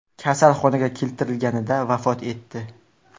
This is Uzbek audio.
kasalxonaga keltirilganida vafot etdi.